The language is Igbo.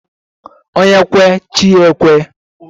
Onye kwe chi ya ekwe